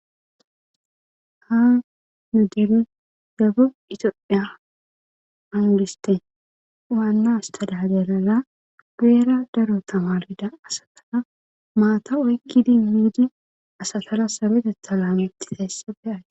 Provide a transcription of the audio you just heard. Ha nu debe gagub itoa angiste waannas tadagalala geera daro tamarida asataa maata oykkidi miidi asatara sabetetha laameti heessabe ae